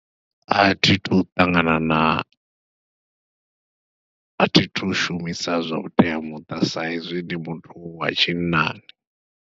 Athi thu ṱangana na athi thu shumisa zwa vhuteamuṱa sa izwi ndi muthu wa tshinnani.